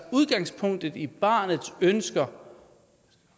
udgangspunkt i barnets ønsker